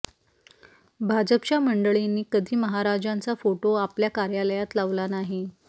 भाजपच्या मंडळींनी कधी महाराजांचा फोटो आपल्या कार्यालयात लावला नाही